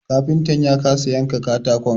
Kafintan ya kasa yanka katakon